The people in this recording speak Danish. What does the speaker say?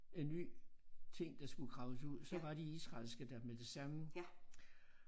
En ny ting der skulle graves ud så var de israelske der med det samme